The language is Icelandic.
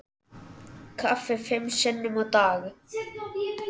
Kaffi fimm sinnum á dag.